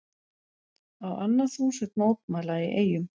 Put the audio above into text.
Á annað þúsund mótmæla í Eyjum